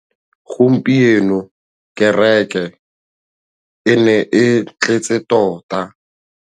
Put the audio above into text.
Gompieno kêrêkê e ne e tletse tota.